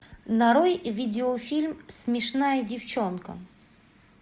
нарой видеофильм смешная девчонка